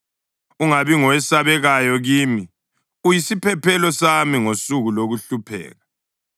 Ungabi ngowesabekayo kimi; uyisiphephelo sami ngosuku lokuhlupheka.